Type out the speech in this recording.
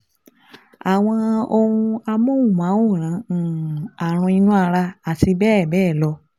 Àwọn ohun amóhùnmáwòrán um Ààrùn inú ara, àti bẹ́ẹ̀ bẹ́ẹ̀ lọ